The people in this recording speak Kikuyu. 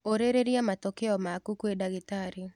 ũrĩrĩria matokeo maku kwĩdagĩtarĩ.